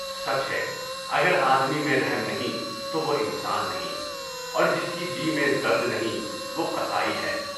سچ ہے اگر آدمی میں رحم نہیں تو وہ انسان نہیں، اور جس کے جی میں درد نہیں وہ قصائی ہے۔